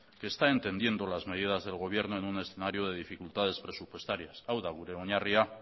que está entendiendo las medidas del gobierno en un escenario de dificultades presupuestarias hau da gure oinarria